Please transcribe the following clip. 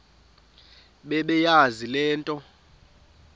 bebeyazi le nto